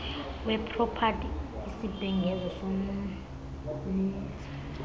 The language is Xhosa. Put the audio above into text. wepropati isibhengezo somenzi